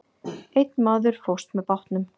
Einn maður fórst með bátnum.